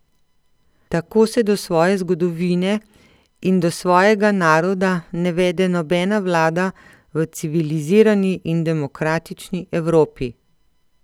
Tako se do svoje zgodovine in do svojega naroda ne vede nobena vlada v civilizirani in demokratični Evropi.